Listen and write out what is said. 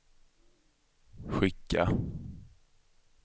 skicka